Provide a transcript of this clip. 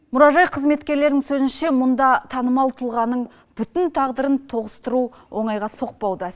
мұражай қызметкерлерінің сөзінше мұнда танымал тұлғаның бүтін тағдырын тоғыстыру оңайға соқпауда